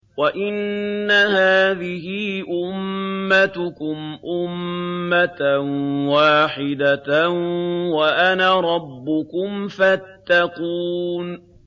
وَإِنَّ هَٰذِهِ أُمَّتُكُمْ أُمَّةً وَاحِدَةً وَأَنَا رَبُّكُمْ فَاتَّقُونِ